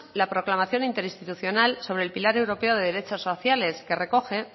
la proclamación interinstitucional sobre el pilar europeo de derechos sociales que recoge